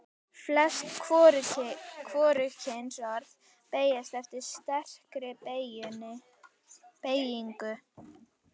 Flest hvorugkynsorð beygjast eftir sterkri beygingu.